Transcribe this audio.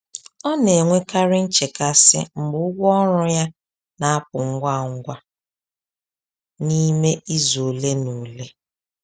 Ọ na-enwekarị nchekasị mgbe ụgwọ ọrụ ya na-apụ ngwa ngwa n’ime izu ole na ole.